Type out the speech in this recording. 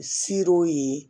Ser'o ye